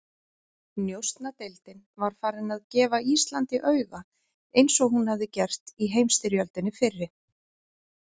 Njósnadeildin var farin að gefa Íslandi auga, eins og hún hafði gert í heimsstyrjöldinni fyrri.